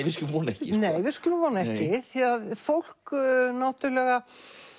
við skulum vona ekki við skulum vona ekki því að fólk náttúrulega